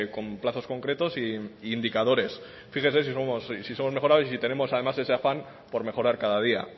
con plazos concretos e indicadores fíjese si somos mejorables y si tenemos además ese afán por mejorar cada día